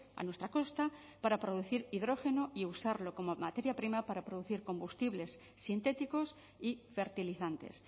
a nuestra costa para producir hidrógeno y usarlo como materia prima para producir combustibles sintéticos y fertilizantes